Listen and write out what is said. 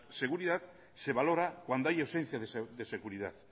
seguridad se valora cuando hay ausencia de seguridad